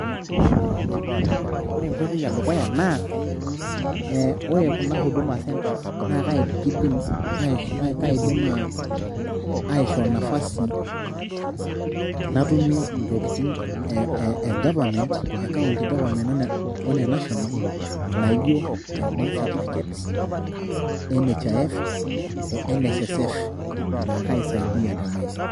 ore enkoitoi edukuya naa ee ore kuna huduma centres naa kaidim aishoo nafasi natumie intokitin e government e county government o ene national naijo birth certificates, NHIF o NSSF naa kaisaidia te maisha.